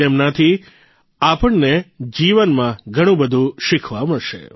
તેમનાથી આપણને જીવનમાં ઘણુંબધું શીખવા મળશે